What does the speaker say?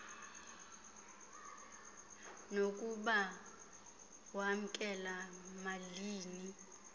nokuba wamkela malini